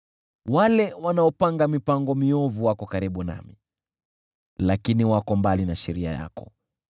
Wale wanaopanga mipango miovu wako karibu nami, lakini wako mbali na sheria yako.